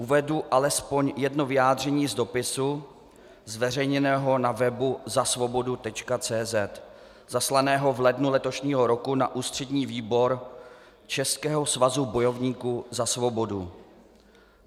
Uvedu alespoň jedno vyjádření z dopisu zveřejněného na webu www.zasvobodu.cz, zaslaného v lednu letošního roku na Ústřední výbor Českého svazu bojovníků za svobodu.